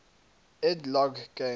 ed logg games